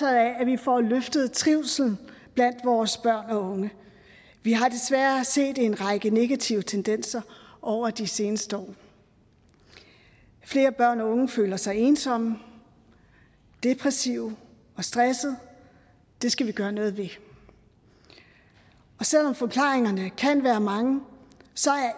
af at vi får løftet trivslen blandt vores børn og unge vi har desværre set en række negative tendenser over de seneste år flere børn og unge føler sig ensomme depressive og stressede det skal vi gøre noget ved og selv om forklaringerne kan være mange